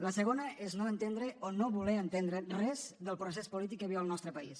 la segona és no entendre o no voler entendre res del procés polític que viu el nostre país